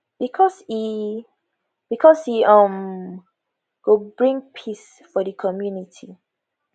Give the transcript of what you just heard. because e because e um go bring peace for di community